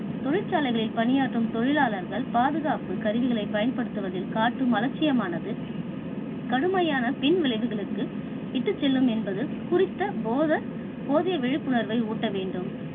தொழிற்சாலைகளில் பணியாற்றும் தொழிலாளர்கள் பாதுகாப்பு கருவிகளை பயன்படுத்துவதில் காட்டும் அலட்சியமானது கடுமையான பின் விளைவுகளுக்கு இட்டுச் செல்லும் என்பது குறித்த போத~போதிய விழிப்புணர்வை ஊட்ட வேண்டும்.